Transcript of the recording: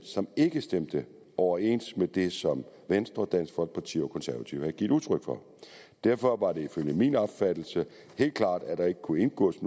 ikke stemte overens med det som venstre dansk folkeparti og konservative havde givet udtryk for derfor var det ifølge min opfattelse helt klart at der ikke kunne indgås